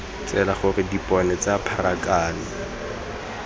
tsela gore dipone tsa pharakano